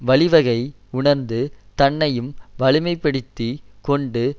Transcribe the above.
வழிவகை உணர்ந்து தன்னையும் வலிமைப்படுத்திக் கொண்டு